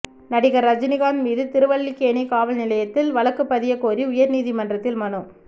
நடிகர் ரஜினிகாந்த் மீது திருவல்லிக்கேணி காவல் நிலையத்தில் வழக்கு பதியக்கோரி உயர்நீதிமன்றத்தில் மனு